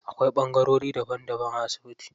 Akwai ɓangarori daban daban a asibiti.